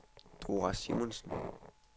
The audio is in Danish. Dora Simonsen